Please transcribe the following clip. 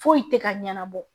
Foyi tɛ ka ɲɛnabɔ